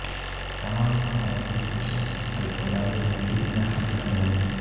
تمام applications الفبائی ترتیب میں حل کر رہے ہیں